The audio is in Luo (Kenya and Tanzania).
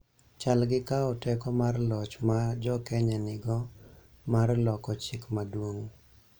chal gi kawo teko mar loch ma Jo-Kenya nigo mar loko Chik Maduong�.